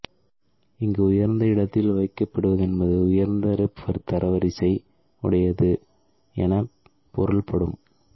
இங்கு உயர்ந்த இடத்தில் வைக்கப்படுவதென்பது உயர்ந்த ஸெர்ப் தரவரிசை உடையது எனப் பொருள்படும்